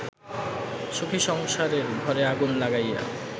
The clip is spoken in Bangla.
সুখী সংসারের ঘরে আগুন লাগাইয়া